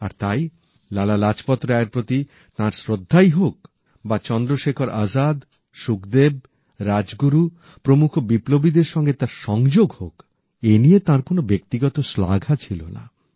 আর তাই লালা লাজপত রায়ের প্রতি তাঁর শ্রদ্ধাই হোক বা চন্দ্রশেখর আজাদ সুখদেব রাজগুরু প্রমূখ বিপ্লবীদের সঙ্গে তাঁর সংযোগ হোক এই নিয়ে তাঁর কোনো ব্যক্তিগত শ্লাঘা ছিল না